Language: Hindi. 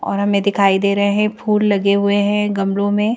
और हमें दिखाई दे रहे हैं फूल लगे हुए हैं गमलों में --